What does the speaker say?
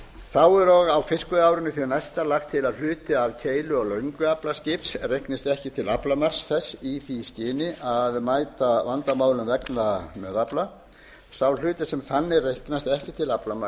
þá er og á fiskveiðiárinu því næsta lagt til að hluti af keilu og löngu aflaskips reiknist ekki til aflamarks þess í því skyni að mæta vandamálum vegna meðafla sá hluti sem þannig reiknast ekki til